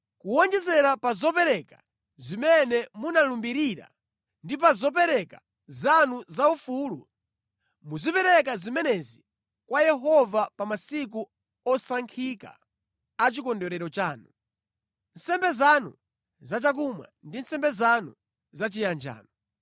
“ ‘Kuwonjezera pa zopereka zimene munalumbirira ndi pa zopereka zanu zaufulu, muzipereka zimenezi kwa Yehova pa masiku osankhika a chikondwerero chanu. Nsembe zanu zachakumwa ndi nsembe zanu zachiyanjano.’ ”